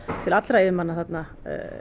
til allra yfirmanna þarna